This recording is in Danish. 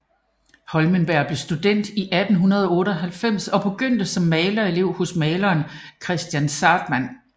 Hohlenberg blev student i 1898 og begyndte som malerelev hos maleren Kristian Zahrtmann